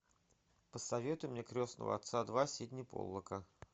посоветуй мне крестного отца два сидни поллака